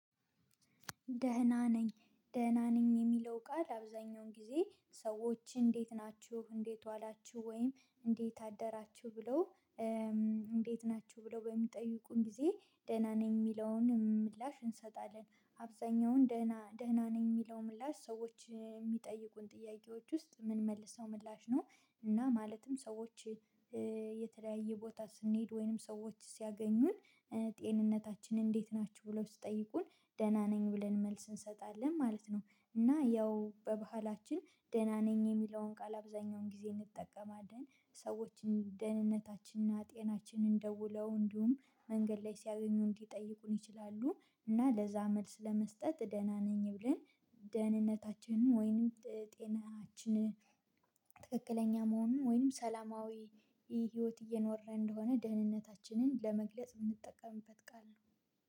ደህና ነኝ ደህና ነኝ የሚለው ቃል አብዛኛውን ጊዜ ሰዎች እንዴት ናችሁ እንዴት ዋላችሁ ወይም እንዴት አደራችሁ ብለው እንዴት ናችሁ ብለው በሚጠይቁን ጊዜ ደህና ነኝ የሚለውን ምላሽ እንሰጣለን አብዛኛውን ደህና ደህና ነኝ የሚለው ምላሽ ሰዎች የሚጠይቁን ጥያቄዎች ውስጥ ምንመልሰው ምላሽ ነው። እና ማለትም ሰዎች የተለያየ ቦታ ስንሄድ ወይንም ሰዎች ሲያገኙን ጤንነታችን እንዴት ናችሁ ብለው ስትጠይቁን ደህና ነኝ ብለን መልስ እንሰጣለን ማለት ነው። እና ያው በባህላችን ደህና ነኝ የሚለውን ቃል አብዛኛውን ጊዜ እንጠቀማለን። ሰዎችን ደህንነታችንና ጤናችንን ደውለው እንዲሁም መንገድ ላይ ሲያገኙን ሊጠይቁን ይችላሉ። እና ለዛ መልስ ለመስጠት ደህና ነኝ ብለን ደህንነታችንን ወይንም ጤናችንን ትክክለኛ መሆኑን ወይንም ሰላማዊ ህይወት እየኖረ እንደሆነ ደህንነታችንን ለመግለጽ የምንጠቀምበት ቃል ነው።